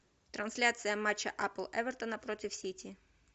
трансляция матча апл эвертона против сити